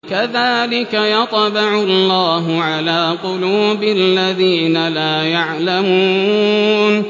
كَذَٰلِكَ يَطْبَعُ اللَّهُ عَلَىٰ قُلُوبِ الَّذِينَ لَا يَعْلَمُونَ